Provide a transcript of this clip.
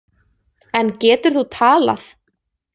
En getur þú talað?